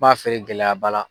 b'a feere gɛlɛyaba la.